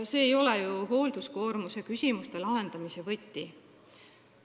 See ei ole hoolduskoormuse küsimuste lahendamise võti.